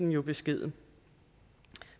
jo beskeden